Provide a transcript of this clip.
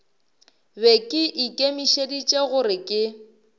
be ke ikemišeditše gore ke